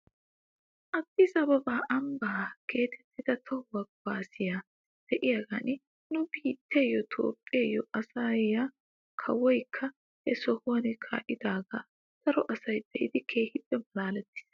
Addis ababa ambba giigettida tohuwaa kaasay de'iyaagan nu biittiyoo toophphiyoo ayssiyaa kawoykka he sohuwan kaa'iidaagaa daro asay be'idi keehippe malaalettis.